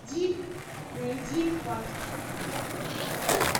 найди пакт